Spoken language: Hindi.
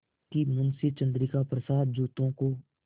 कि मुंशी चंद्रिका प्रसाद जूतों को